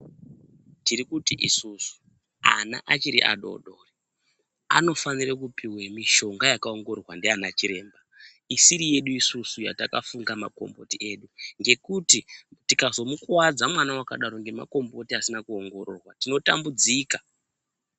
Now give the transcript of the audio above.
Tiri kuti isusu ana achiri a dodori anofanire kupiwe mishonga yaka ongororwa ndiana chiremba isiri yedu isusu yataka funga makomboti edu ngekuti tikazomu kuwadza mwana akadaro nfema komboti edu tino tambudzika.